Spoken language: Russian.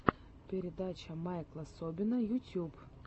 передача майкла собина ютьюб